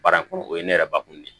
Baara ko o ye ne yɛrɛ bakun de ye